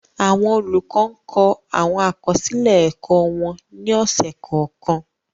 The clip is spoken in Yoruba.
Awọn olukọ ǹ kọ awọn akọsilẹ ẹkọ wọn ni ọsẹ kọọkan